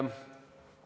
Aga mis siis nüüd saab?